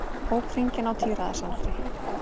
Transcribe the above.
Ók hringinn á tíræðisaldri